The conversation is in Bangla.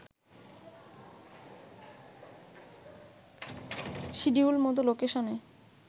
সিডিউল মতো লোকেশনে